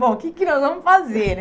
Bom, o que que nós vamos fazer?